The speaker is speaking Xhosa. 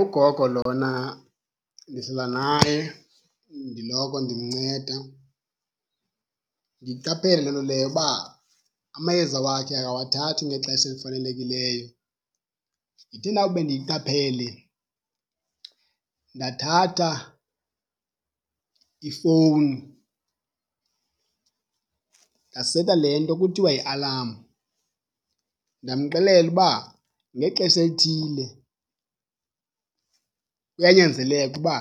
Ugogo lona ndihlala naye ndiloko ndimnceda. Ndiyiqaphele loo nto leyo uba amayeza wakhe akawathathi ngexesha elifanelekileyo. Ndithe ndawube ndiyiqaphele ndathatha ifowuni ndaseta le nto kuthiwa yi-alarm, ndamxelela uba ngexesha elithile kuyanyanzeleka uba